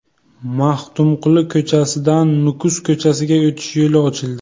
Maxtumquli ko‘chasidan Nukus ko‘chasiga o‘tish yo‘li ochildi.